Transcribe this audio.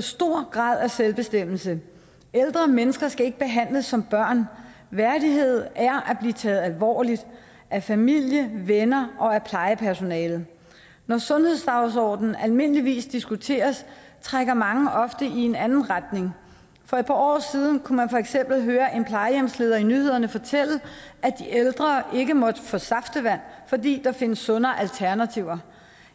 stor grad af selvbestemmelse ældre mennesker skal ikke behandles som børn værdighed er at blive taget alvorligt af familie venner og af plejepersonale når sundhedsdagsordenen almindeligvis diskuteres trækker mange ofte i en anden retning for et par år siden kunne man for eksempel høre en plejehjemsleder fortælle i nyhederne at de ældre ikke måtte få saftevand fordi der findes sundere alternativer